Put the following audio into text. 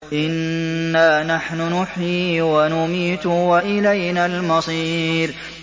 إِنَّا نَحْنُ نُحْيِي وَنُمِيتُ وَإِلَيْنَا الْمَصِيرُ